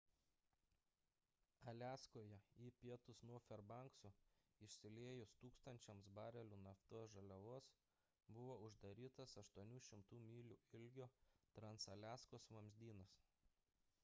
aliaskoje į pietus nuo ferbankso išsiliejus tūkstančiams barelių naftos žaliavos buvo uždarytas 800 mylių ilgio transaliaskos vamzdynas